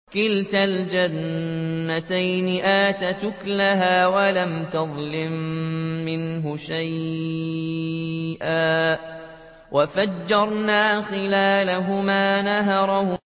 كِلْتَا الْجَنَّتَيْنِ آتَتْ أُكُلَهَا وَلَمْ تَظْلِم مِّنْهُ شَيْئًا ۚ وَفَجَّرْنَا خِلَالَهُمَا نَهَرًا